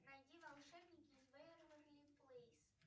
найди волшебники из вэйверли плэйс